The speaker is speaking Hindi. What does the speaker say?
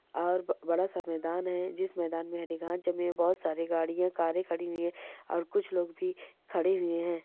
और बड़ा सा मैदान हैं जिस मैदान मैं हरी घांस जमी है बोहत सारी गाड़ियां कारें खड़ी हैं और कुछ लोग भी खड़े हुये हैं।